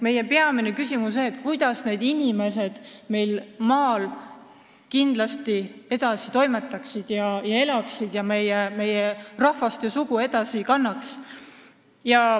Meie peamine küsimus on, mida teha, et inimesed maal kindlasti edasi elaksid ja toimetaksid ning meie rahvast ja sugu edasi kannaksid.